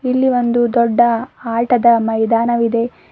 ಇಲ್ಲಿ ಒಂದು ದೊಡ್ಡ ಆಟದ ಮೈದಾನವಿದೆ.